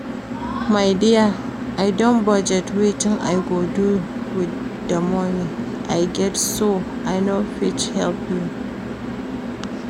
My dear I don budget wetin I go do with the money I get so I no fit help you